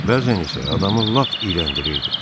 Bəzən isə adamı lap iyrəndirirdi.